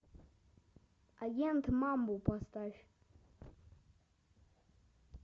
агент мамбу поставь